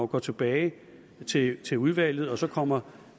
går tilbage til til udvalget og så kommer